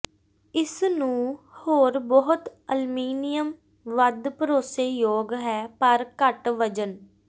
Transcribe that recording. ਇਸ ਨੂੰ ਹੋਰ ਬਹੁਤ ਅਲਮੀਨੀਅਮ ਵੱਧ ਭਰੋਸੇਯੋਗ ਹੈ ਪਰ ਘੱਟ ਵਜ਼ਨ